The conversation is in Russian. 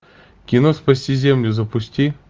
кино спасти землю запусти